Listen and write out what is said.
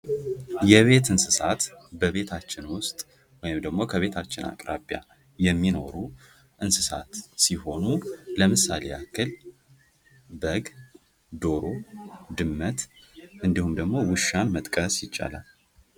የቤት እንስሳት በቤታችን ውስጥ ወይም ደሞ ከቤታችን አቅራቢያ የሚኖሩ እንስሳት ሲሆኑ ለምሳሌ ያህል በግ፥ ዶሮ ፥ድመት እንዲሁም ደግሞ ውሻ መጥቀስ ይቻላል።